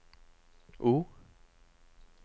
O